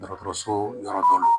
Dɔgɔtɔrɔso yɔrɔ dɔ la